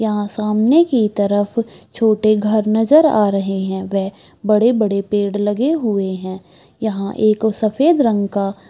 यहाँ सामने की तरफ छोटे घर नजर आ रहे हैं | वे बड़े बड़े पेड़ लगे हुए हैं | यहाँ एक सफ़ेद रंग का --